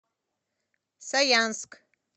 саянск